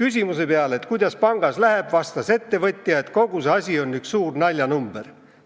"Küsimuse peale, kuidas pangas läheb, vastas ettevõtja, et kogu see asi on üks suur naljanumber.